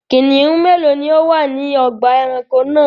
Kìnnìún mélòó ni ó wà ní ọgbà-ẹranko náà?